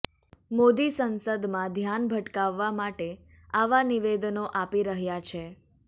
મોદી સંસદમાં ધ્યાન ભટકાવવા માટે આવા નિવેદનો આપી રહ્યાં છે